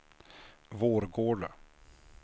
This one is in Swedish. Vårgårda